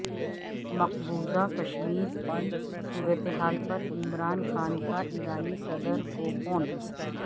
مقبوضہ کشمیر کی صورتحال پر عمران خان کا ایرانی صدر کو فون